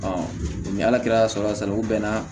ni ala kɛra sala sala u bɛn na